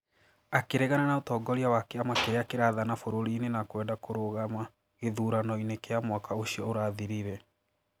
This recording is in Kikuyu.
Akĩregana na ũtongoria wa kĩama kĩrĩa kĩrathana bũrũri-inĩ na kwenda kurũgama gĩthuranoinĩ kĩa mwaka ũcio ũrathirire.